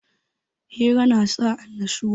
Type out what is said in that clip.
Hira na sa annashuwa